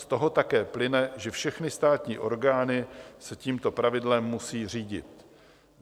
Z toho také plyne, že všechny státní orgány se tímto pravidlem musí řídit.